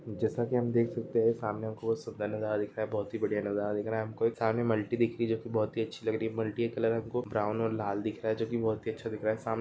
जेसा के हम देख सकते है सामने हम को सामने मल्टी दिख रही जो की बहुत ही अच्छी लग रही मल्टी का कलर हम को ब्राउन और लाल दिख रहा है जो की बहुत ही अच्छा दिख रहा है सं--